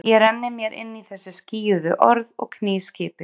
Ég renni mér inn í þessi skýjuðu orð og kný skipið.